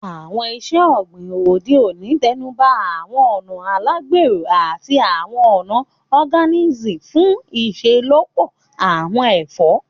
Àwọn iṣẹ́ ọ̀gbìn òde òní tẹnuba àwọn ọ̀nà alágbèro àti àwọn ọ̀nà Organic fún iṣelọpọ àwọn ẹ̀fọ́